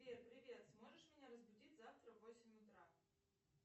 сбер привет сможешь меня разбудить завтра в восемь утра